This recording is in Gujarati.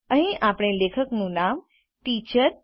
અહીં આપણે લેખકનું નામ ટીચર